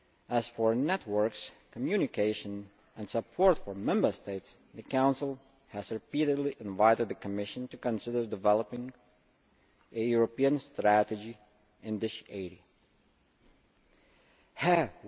As for networks, communication and support for Member States, the Council has repeatedly invited the Commission to consider developing a European Strategy in this area.